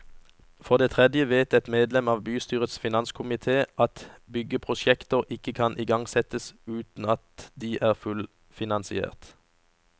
For det tredje vet et medlem av bystyrets finanskomité at at byggeprosjekter ikke kan igangsettes uten at de er fullfinansiert.